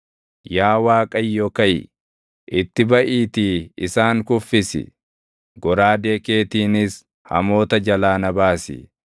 Yaa Waaqayyo kaʼi; itti baʼiitii isaan kuffisi; goraadee keetiinis hamoota jalaa na baasi.